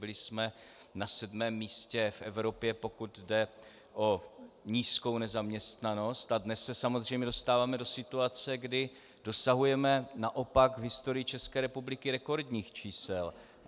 Byli jsme na sedmém místě v Evropě, pokud jde o nízkou nezaměstnanost, a dnes se samozřejmě dostáváme do situace, kdy dosahujeme naopak v historii České republiky rekordních čísel.